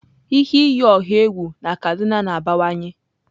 Ihe iyi ọha egwu na kaduna na-abawanye.